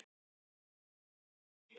Ég er ekki í stuði.